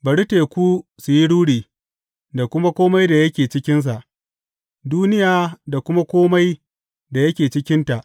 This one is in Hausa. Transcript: Bari teku su yi ruri, da kuma kome da yake cikinsa, duniya da kuma kome da yake cikinta.